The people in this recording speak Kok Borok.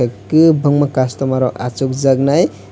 egkhe bangma customer rok asokjak nai.